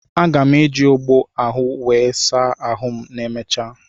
Aga m eji ogbo ahụ wee saa ahụ ma emechaa.